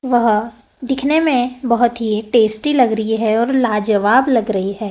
वह दिखने में बहोत ही टेस्टी लग री है और लाजवाब लग रही है।